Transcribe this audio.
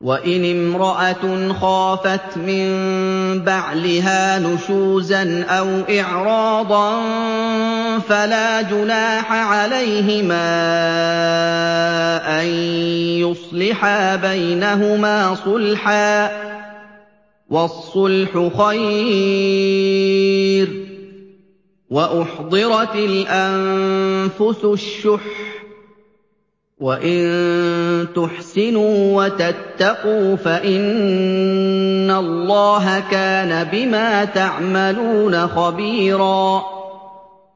وَإِنِ امْرَأَةٌ خَافَتْ مِن بَعْلِهَا نُشُوزًا أَوْ إِعْرَاضًا فَلَا جُنَاحَ عَلَيْهِمَا أَن يُصْلِحَا بَيْنَهُمَا صُلْحًا ۚ وَالصُّلْحُ خَيْرٌ ۗ وَأُحْضِرَتِ الْأَنفُسُ الشُّحَّ ۚ وَإِن تُحْسِنُوا وَتَتَّقُوا فَإِنَّ اللَّهَ كَانَ بِمَا تَعْمَلُونَ خَبِيرًا